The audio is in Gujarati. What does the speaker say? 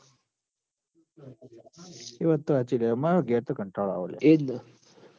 એ વાત તો હાચી લ્યા માર ઘેર તો કંટાળો આવ હ લ્યા